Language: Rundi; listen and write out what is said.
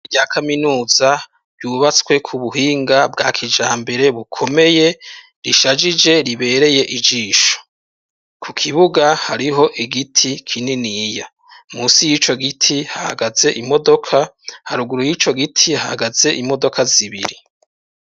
Ishure rya kaminuza ryubatswe ku buhinga bwa kijambere bukomeye, rishajije ribereye ijisho. Ku kibuga hariho igiti kininiya, musi y'ico giti hahagaze imodoka, haruguru y'ico giti hahagaze imodoka zibiri.